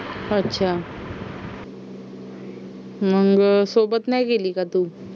अच्छा मग सोबत नाही गेली का तू